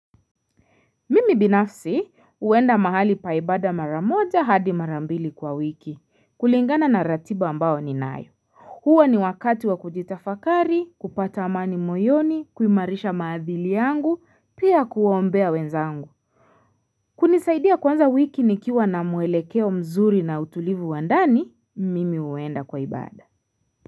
Mimi binafsi huenda mahali pa ibada maramoja hadi marambili kwa wiki kulingana na ratiba ambao ni nayo. Huwa ni wakati wa kujitafakari, kupata amani moyoni, kuimarisha maadhili yangu, pia kuombea wenzangu. Kunisaidia kuanza wiki nikiwa na muelekeo mzuri na utulivu wandani, mimi uenda kwaibada.